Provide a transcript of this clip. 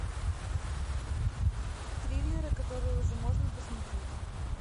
триллеры которые уже можно посмотреть